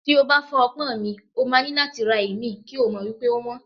Tí o bá fọ́ ọpọ́n mi, o máa ní láti ra ìmí, kí o mọ̀ wípé ówọ́n.